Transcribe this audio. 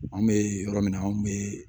An bɛ yɔrɔ min na anw bɛ